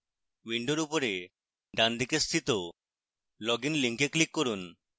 window উপরের ডানদিকে স্থিত login link click করুন